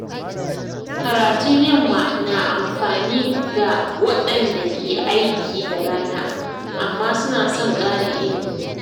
Karatun yamma na amfani ga waɗanda ke aiki da rana amma suna son ƙarin ilimi.